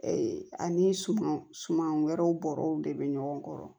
ani suman suman wɛrɛw bɔrɔw de bɛ ɲɔgɔn kɔrɔ